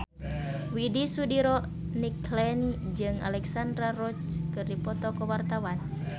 Widy Soediro Nichlany jeung Alexandra Roach keur dipoto ku wartawan